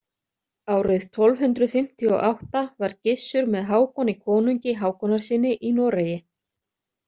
Árið tólf hundrað fimmtíu og átta var Gissur með Hákoni konungi Hákonarsyni í Noregi.